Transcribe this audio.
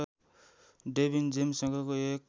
Devine जेम्ससँग एक